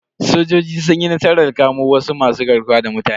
Sojoji sun yi nasarar kamo wasu masu garkuwa da mutane.